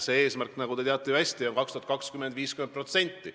See eesmärk, nagu te hästi teate, on 2020. aastaks 50%.